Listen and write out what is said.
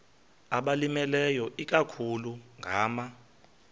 abalimileyo ikakhulu ngama